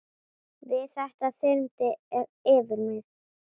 Við þetta þyrmdi yfir mig.